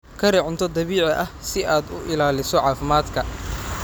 Kari cunto dabiici ah si aad u ilaaliso caafimaadka.